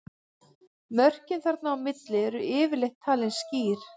Mörkin þarna á milli eru yfirleitt talin skýr.